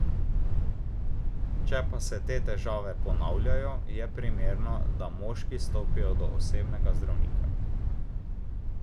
Če pa se te težave ponavljajo, je primerno, da moški stopijo do osebnega zdravnika.